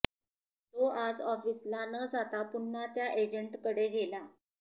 तो आज ऑफिसला न जाता पुन्हा त्या एजंटकडे गेला